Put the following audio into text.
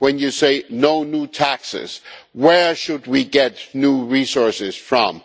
When you say no new taxes, where should we get new resources from?